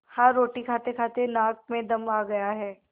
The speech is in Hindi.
हाँ रोटी खातेखाते नाक में दम आ गया है